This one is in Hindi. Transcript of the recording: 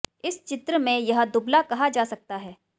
इस चित्र में यह दुबला कहा जा सकता है